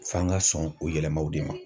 F'an ga sɔn o yɛlɛmaw de ma.